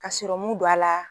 Ka serɔmu don a la.